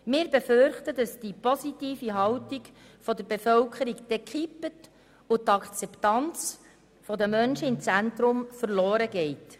Wir befürchten, dass die positive Haltung der Be völkerung kippt und die Akzeptanz der Menschen im Zentrum verloren geht.